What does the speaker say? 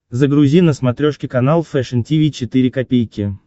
загрузи на смотрешке канал фэшн ти ви четыре ка